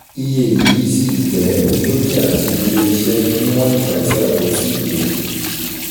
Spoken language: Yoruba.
Iye yii ṣí jẹ́ dúkìá sí ilé-iṣẹ níwọ̀n ìgbà tí a kò ti lo